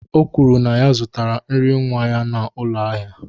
O kwuru na ya zụtara nri nwa ya n'ụlọ ahịa